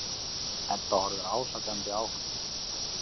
Edda horfir ásakandi á hann.